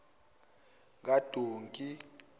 kadonke